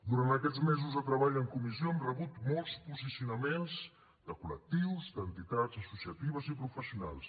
durant aquests mesos de treball en comissió hem rebut molts posicionaments de col·lectius d’entitats associatives i professionals